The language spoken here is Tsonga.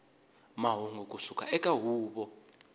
mahungu ku suka eka huvo